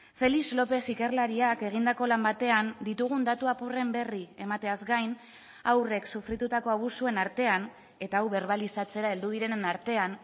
félix lópez ikerlariak egindako lan batean ditugun datu apurren berri emateaz gain haurrek sufritutako abusuen artean eta hau berbalizatzera heldu direnen artean